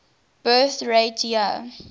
birth rate year